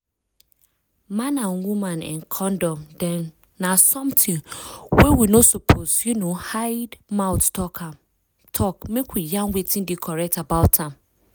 man and woman[um]condom dem na something wey we no suppose um hide mouth talk make we yarn wetin dey correct about am